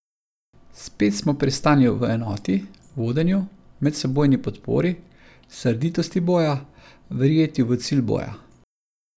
Spet smo pri stanju v enoti, vodenju, medsebojni podpori, srditosti boja, verjetju v cilj boja.